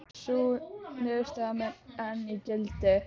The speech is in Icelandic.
Sú niðurstaða mun enn í gildi.